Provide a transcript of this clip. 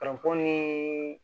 ni